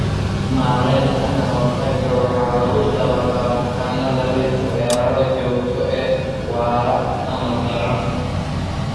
Maaraynta kahortaga waxa lagu dabaqaa bukaanada leh weeraro joogto ah, waara, ama daran.